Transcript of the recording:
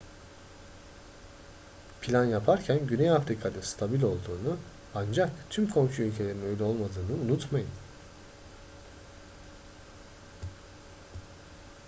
plan yaparken güney afrika'nın stabil olduğunu ancak tüm komşu ülkelerin öyle olmadığını unutmayın